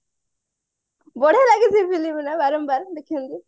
ବଢିଆ ଲାଗେ ସେ film ଗୁରା ବାରମ୍ବାର ଦେଖିବାକୁ